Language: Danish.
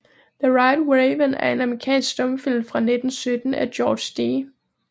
The White Raven er en amerikansk stumfilm fra 1917 af George D